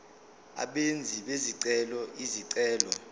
abenzi bezicelo izicelo